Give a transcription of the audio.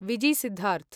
Vizzy Siddharth